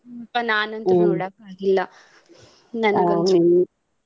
ಏನೋಪಾ ನಾನಂತೂ ನೋಡಾಕ ಹೋಗಿಲ್ಲ.